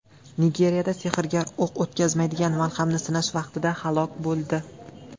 Nigeriyada sehrgar o‘q o‘tkazmaydigan malhamni sinash vaqtida halok bo‘ldi.